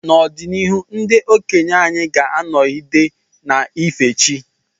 N’ọdịnihu, ndị okenye anyị ga-anọgide na-efe chi.